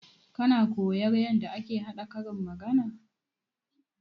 Kana koya yarda ake haɗa karin magana?